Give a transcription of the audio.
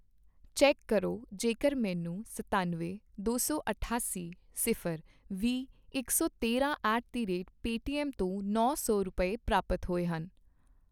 check ਕਰੋ ਜੇਕਰ ਮੈਨੂੰ ਸਤਨਵੇਂ, ਦੋ ਸੌ ਅਠਾਸੀ, ਸਿਫ਼ਰ, ਵੀਹ, ਇਕ ਸੌ ਤੇਰਾਂ ਐਟ ਦੀ ਰੇਟ ਪੇਟੀਐੱਮ ਤੋਂ ਨੌ ਸੌ ਰੁਪਏ, ਪ੍ਰਾਪਤ ਹੋਏ ਹਨ